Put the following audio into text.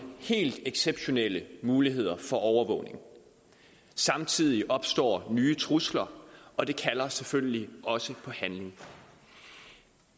helt exceptionelle muligheder for overvågning samtidig opstår nye trusler og det kalder selvfølgelig også på handling